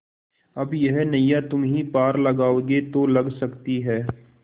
अब यह नैया तुम्ही पार लगाओगे तो लग सकती है